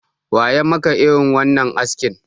Wa ya maka irin wannan askin?